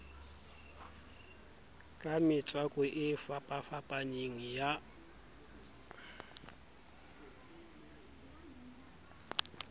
ka metswako e fapafapaneng ya